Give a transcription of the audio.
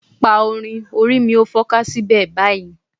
Pa orin "orí mi ó fọ́ká síbẹ̀..." báyìí.